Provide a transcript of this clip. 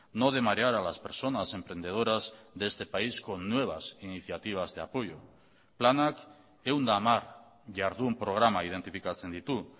no de marear a las personas emprendedoras de este país con nuevas iniciativas de apoyo planak ehun eta hamar jardun programa identifikatzen ditu